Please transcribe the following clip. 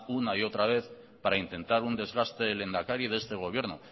una y otra vez para intentar un desgaste del lehendakari de este gobierno